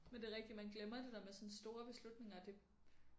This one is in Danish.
Men det rigtig man glemmer det der med sådan store beslutninger det